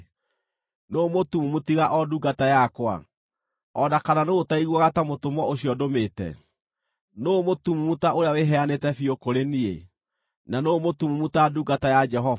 Nũũ mũtumumu tiga o ndungata yakwa, o na kana nũũ ũtaiguaga ta mũtũmwo ũcio ndũmĩte? Nũũ mũtumumu ta ũrĩa wĩheanĩte biũ kũrĩ niĩ, na nũũ mũtumumu ta ndungata ya Jehova?